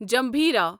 جمبھیٖرا